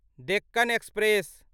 Deccan express